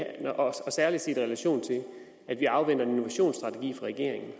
særlig set i relation til at vi afventer en innovationsstrategi fra regeringen at